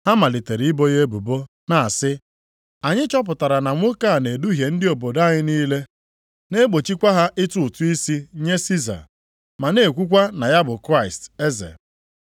Ha malitere ibo ya ebubo na-asị, “Anyị chọpụtara na nwoke a na-eduhie ndị obodo anyị niile, na-egbochikwa ha ịtụ ụtụ isi nye Siza, ma na-ekwukwa na ya bụ Kraịst, Eze.”